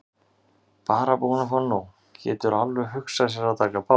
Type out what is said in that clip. Bara búinn að fá nóg, getur alveg hugsað sér að taka pásu.